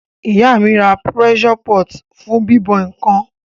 Ìyá mí ra pressure pot fún bíbọ̀ nkan